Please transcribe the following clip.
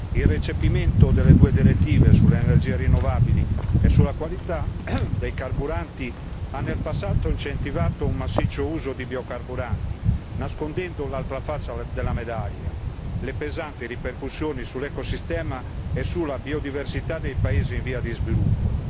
Il recepimento delle due direttive sulle energie rinnovabili e sulla qualità dei carburanti ha in passato incentivato un massiccio uso di biocarburanti, nascondendo l'altra faccia della medaglia le pesanti ripercussioni sull'ecosistema e sulla biodiversità nei paesi in via di sviluppo.